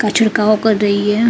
का छरकाओ कर रही है।